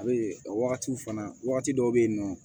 A bɛ a wagati fana wagati dɔw bɛ yen nɔ